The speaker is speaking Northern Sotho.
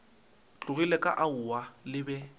tlogile ka aowa le be